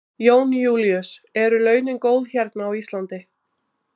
Jón Júlíus: Eru launin góð hérna á Íslandi?